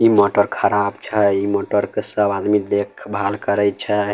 इ मोटर खराब छै इ मोटर के सब आदमी सब देख भाल करे छै।